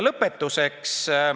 Lõpetuseks.